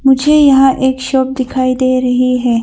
मुझे यहां एक शॉप दिखाई दे रही है।